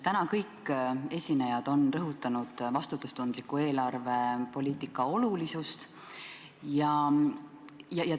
Täna on kõik esinejad rõhutanud vastutustundliku eelarvepoliitika olulisust.